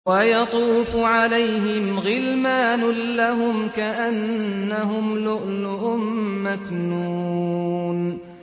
۞ وَيَطُوفُ عَلَيْهِمْ غِلْمَانٌ لَّهُمْ كَأَنَّهُمْ لُؤْلُؤٌ مَّكْنُونٌ